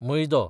मैदो